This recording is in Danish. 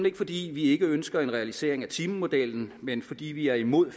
ikke fordi vi ikke ønsker en realisering af timemodellen men fordi vi er imod